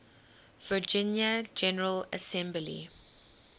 virginia general assembly